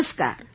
નમસ્કાર